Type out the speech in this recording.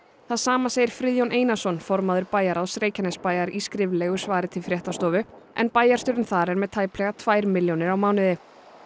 það sama segir Friðjón Einarsson formaður bæjarráðs Reykjanesbæjar í skriflegu svari til fréttastofu en bæjarstjórinn þar er með tæplega tvær milljónir á mánuði